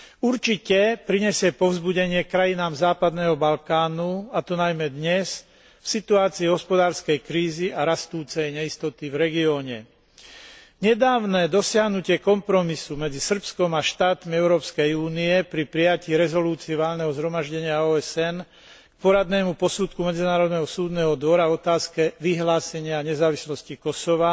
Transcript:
Určite prinesie povzbudenie krajinám západného Balkánu, a to najmä dnes, v situácii hospodárskej krízy a rastúcej neistoty v regióne. Nedávne dosiahnutie kompromisu medzi Srbskom a štátmi Európskej únie pri prijatí rezolúcie Valného zhromaždenia OSN k poradnému posudku Medzinárodného súdneho dvora v otázke vyhlásenia nezávislosti Kosova,